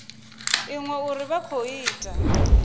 iṅwe uri vha khou ita